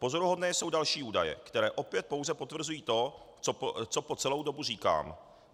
Pozoruhodné jsou další údaje, které opět pouze potvrzují to, co po celou dobu říkám.